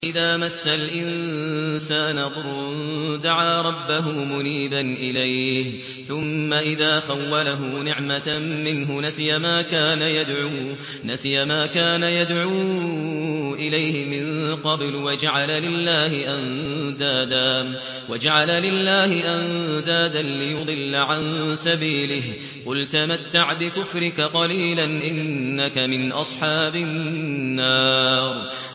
۞ وَإِذَا مَسَّ الْإِنسَانَ ضُرٌّ دَعَا رَبَّهُ مُنِيبًا إِلَيْهِ ثُمَّ إِذَا خَوَّلَهُ نِعْمَةً مِّنْهُ نَسِيَ مَا كَانَ يَدْعُو إِلَيْهِ مِن قَبْلُ وَجَعَلَ لِلَّهِ أَندَادًا لِّيُضِلَّ عَن سَبِيلِهِ ۚ قُلْ تَمَتَّعْ بِكُفْرِكَ قَلِيلًا ۖ إِنَّكَ مِنْ أَصْحَابِ النَّارِ